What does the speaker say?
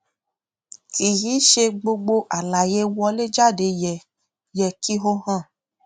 kì í ṣe gbogbo àlàyé wọléjáde yẹ yẹ kí ó hàn